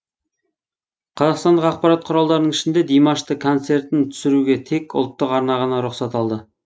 қазақстандық ақпарат құралдарының ішінде димаштың концертін түсіруге тек ұлттық арна ғана рұқсат алды